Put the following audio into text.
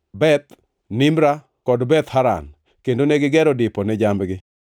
Beth Nimra kod Beth Haran, kendo negigero dipo ne jambgi.